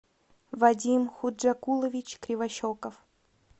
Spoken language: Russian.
вадим худжакулович кривощеков